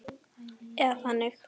Eða þannig.